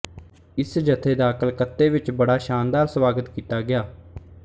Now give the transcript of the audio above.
ਇਸ ਜਥੇ ਦਾ ਕਲਕੱਤੇ ਵਿੱਚ ਬੜਾ ਸ਼ਾਨਦਾਰ ਸਵਾਗਤ ਕੀਤਾ ਗਿਆ